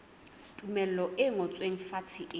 tumello e ngotsweng fatshe e